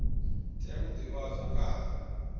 tea u divhadzwa nga ha